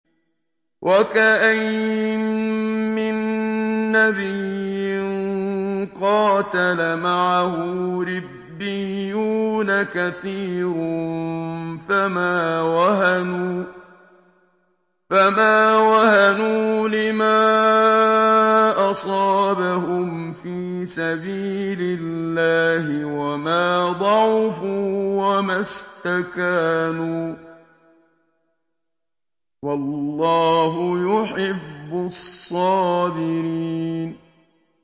وَكَأَيِّن مِّن نَّبِيٍّ قَاتَلَ مَعَهُ رِبِّيُّونَ كَثِيرٌ فَمَا وَهَنُوا لِمَا أَصَابَهُمْ فِي سَبِيلِ اللَّهِ وَمَا ضَعُفُوا وَمَا اسْتَكَانُوا ۗ وَاللَّهُ يُحِبُّ الصَّابِرِينَ